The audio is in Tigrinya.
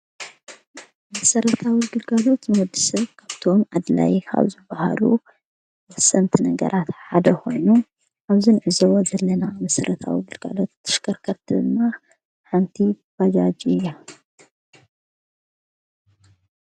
መሠረታዊ ግልጋሎት ምውሳድ ካብቶም ኣድላይ ካብዙብሃሉ ወሰንቲ ነገራት ሓደ ኣብዘን ዘለና መሠረታዊ ግልጋሎት ተሽከርከርቲ ሓንቲ ባጃጅ እያ።